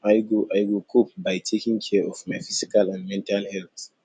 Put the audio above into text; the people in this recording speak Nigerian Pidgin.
i go i go cope by taking care of my physical and mental health